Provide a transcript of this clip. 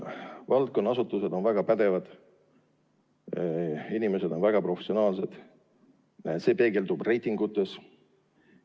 Valdkonna asutused on väga pädevad ja inimesed on väga professionaalsed, see peegeldub reitingutes.